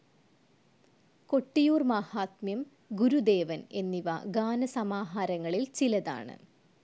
കൊട്ടിയൂർ മാഹാത്മ്യം, ഗുരുദേവൻ എന്നിവ ഗാന സമാഹാരങ്ങളിൽ ചിലതാണ്.